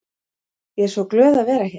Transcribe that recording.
Ég er svo glöð að vera hér.